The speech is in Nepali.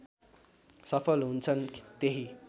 सफल हुन्छन् त्यही